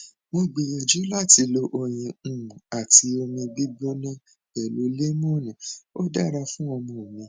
mo gbìyànjú láti lo oyin um àti omi gbígbóná pẹlú lẹmónì ó dára fún ọmọ mi